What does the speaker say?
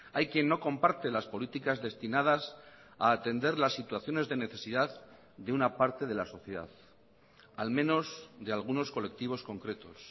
hay quien no comparte las políticas destinadas a atender las situaciones de necesidad de una parte de la sociedad al menos de algunos colectivos concretos